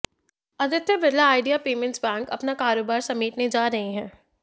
Aditya Birla Idea payments bank अपना कारोबार समेटने जा रहा है